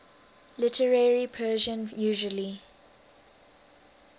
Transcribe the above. literary persian usually